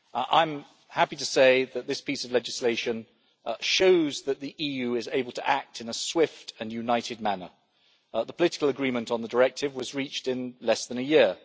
I am happy to say that this piece of legislation shows that the EU is able to act in a swift and united manner. The political agreement on the directive was reached in less than a year.